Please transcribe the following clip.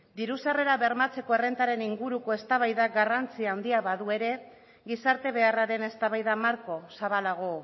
diru sarrerak bermatzeko errentaren inguruko eztabaidak garrantzi handia badu ere gizarte beharraren eztabaida marko zabalago